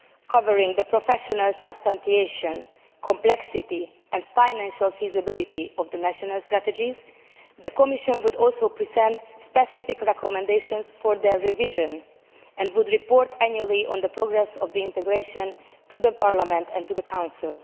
covering the professional substantiation, complexity and financial feasibility of the national strategies, the Commission would also present specific recommendations for their revision, and would report annually on the progress of the integration to Parliament and to the Council.